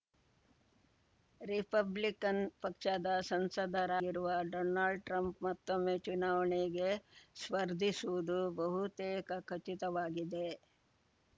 Republican ಪಕ್ಷದ ಸಂಸದರಾಗಿರುವ Donald Trump ಮತ್ತೊಮ್ಮೆ ಚುನಾವಣೆಗೆ ಸ್ಪರ್ಧಿಸುವುದು ಬಹುತೇಕ ಖಚಿತವಾಗಿದೆ